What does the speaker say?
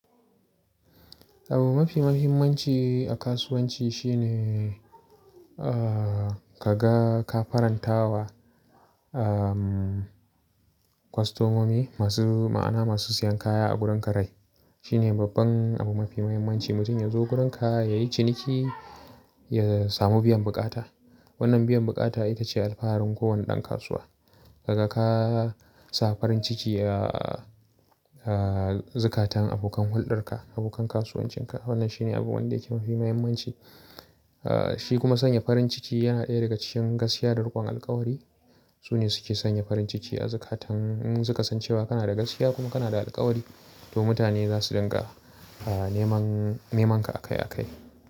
Abu mafi muhimmanci a kasuwanci shine, ah, ka ga ka farantawa, um, kostomomi masu ma'ana, masu siyan kaya a gurin ka rai. Shi ne babban abu mafi muhimmanci. Mutum ya zo gurin ka yayi ciniki, ya samu biyan bukata. Wannan biyan bukata ita ce alfaharin kowane ɗan kasuwa. Kaga ka sa farin ciki, ah, ah, zukatan abokan hulɗar ka, abokan kasuwancin ka. Wannan shi ne abu wanda yake mafi muhimmanci. Ah, shi kuma sanya farin ciki yana ɗaya daga cikin gaskiya da rikon alkawari. Su ne suke sanya farin ciki a zukatan. In suka san cewa kana da gaskiya kuma kana da alkawari, to mutane za su dinga, ah, neman, neman ka akai akai.